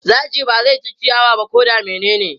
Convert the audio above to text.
Zaki ba zai ci ciyawa ba ko da menene.